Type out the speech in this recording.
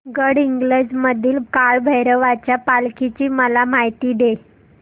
गडहिंग्लज मधील काळभैरवाच्या पालखीची मला माहिती दे